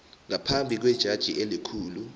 ngaphambi kwejaji elikhulu